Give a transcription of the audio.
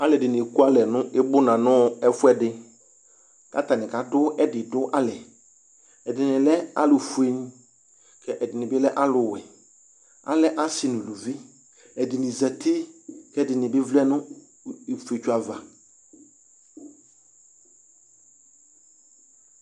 Aalʋɛɖini ekualɛ nʋ ibʋna nʋ ɛfuɛɖi k'atani kaɖʋ ɛɖiɖʋ alɛƐɖini lɛ alʋ fue, k'ɛɖinibi lɛ alʋ wuɛAlɛ aasi nʋ aalʋvi ɛɖini zati k'ɛɖinibi vlɛnʋ ifetso ava